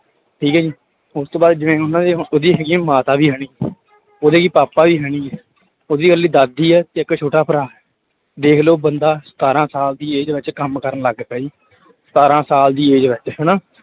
ਠੀਕ ਹੈ ਜੀ ਉਸ ਤੋਂ ਬਾਅਦ ਜਿਵੇਂ ਉਹਨਾਂ ਉਹਦੀ ਹੈਗੀ ਮਾਤਾ ਵੀ ਹੈ ਨੀ ਉਹਦੇ ਪਾਪਾ ਵੀ ਹੈ ਨੀ ਉਹਦੀ ਇਕੱਲੀ ਦਾਦੀ ਹੈ ਤੇ ਇੱਕ ਛੋਟਾ ਭਰਾ, ਦੇਖ ਲਓ ਬੰਦਾ ਸਤਾਰਾਂ ਸਾਲ ਦੀ age ਵਿੱਚ ਕੰਮ ਕਰਨ ਲੱਗ ਪਿਆ ਜੀ ਸਤਾਰਾਂ ਸਾਲ ਦੀ age ਵਿੱਚ ਹਨਾ।